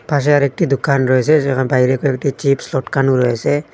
পাশে আরেকটি দোকান রয়েসে যেখানে বাইরে কয়েকটি চিপস্ লটকানো রয়েসে ।